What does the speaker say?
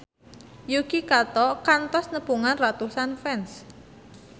Yuki Kato kantos nepungan ratusan fans